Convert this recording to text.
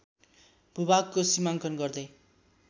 भूभागको सिमाङ्कन गर्दै